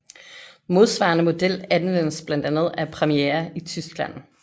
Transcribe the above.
Modsvarende model anvendes blandt andet af Premiere i Tyskland